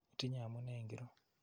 Itinye amune ingoro?